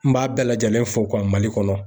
N b'a bɛɛ lajɛlen fɔ MALI kɔnɔ.